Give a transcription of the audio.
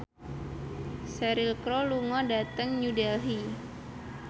Cheryl Crow lunga dhateng New Delhi